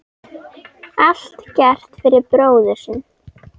Allt gert fyrir bróðir sinn.